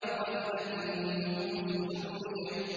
وَإِذَا النُّفُوسُ زُوِّجَتْ